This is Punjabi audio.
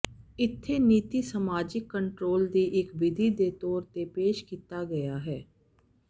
ਇੱਥੇ ਨੀਤੀ ਸਮਾਜਿਕ ਕੰਟਰੋਲ ਦੀ ਇੱਕ ਵਿਧੀ ਦੇ ਤੌਰ ਤੇ ਪੇਸ਼ ਕੀਤਾ ਗਿਆ ਹੈ